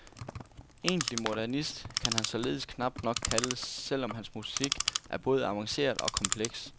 Egentlig modernist kan han således knapt nok kaldes, selv om hans musik er både avanceret og kompleks.